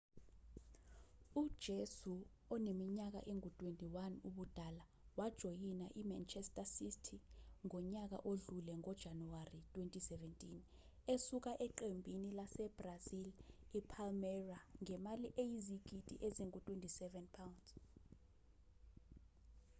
ujesu oneminyaka engu-21 ubudala wajoyina i-manchester city ngonyaka odlule ngo-januwari 2017 esuka eqembini lase-brazil i-palmeira ngemali eyizigidi ezingu-£27